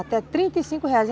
Até trinta e cinco reais.